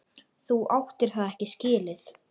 Þú áttir það ekki skilið.